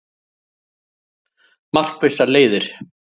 Markvissar leiðir